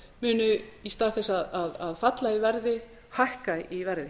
munu í stað þess að falla í verði hækka í verði